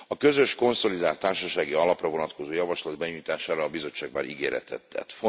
A közös konszolidált társasági alapra vonatkozó javaslat benyújtására a Bizottság már ígéretet tett.